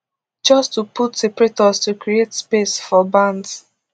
just to put separators to create space for bands